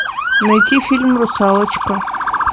найти фильм русалочка